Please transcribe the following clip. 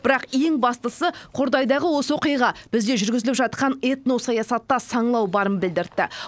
бірақ ең бастысы қордайдағы осы оқиға бізде жүргізіліп жатқан этносаясатта саңылау барын білдіртті